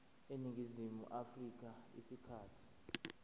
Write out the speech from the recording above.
eningizimu afrika isikhathi